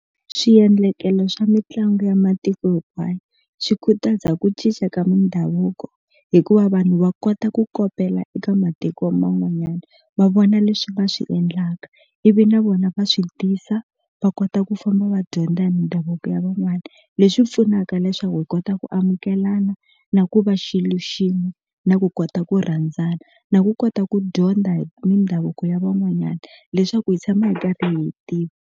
Swiendlakelo swa mitlangu ya matiko hinkwayo swi khutaza ku cinca ka mindhavuko hikuva vanhu va kota ku kopela eka matiko man'wanyana va vona leswi va swi endlaka ivi na vona va swi tisa va kota ku famba va dyondza hi mindhavuko ya van'wana leswi pfunaka leswaku hi kota ku amukelana na ku va xilo xin'we na ku kota ku rhandzana na ku kota ku dyondza hi mindhavuko ya van'wanyana leswaku hi tshama hi karhi hi tiva.